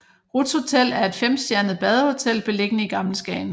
Ruths Hotel er et femstjernet badehotel beliggende i Gammel Skagen